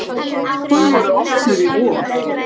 Tilboðin voru opnuð í vor.